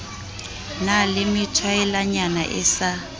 na le methwaelanyana e sa